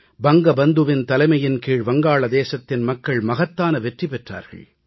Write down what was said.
வங்க பந்துவின் தலைமையின் கீழ் வங்காளதேசத்தின் மக்கள் மகத்தான வெற்றி பெற்றார்கள்